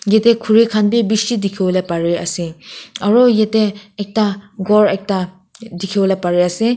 yete khuri khan bi bishi dikhiwole pari ase aro yete ekta ghor ekta dikhiwole pari ase.